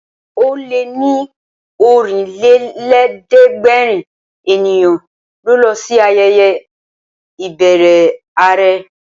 Ó lé ní Ọ̀rìnlélẹ̀ẹ́dẹ́gbèrin ènìyàn ló lọ sí ayẹyẹ ìbẹrẹ àrẹ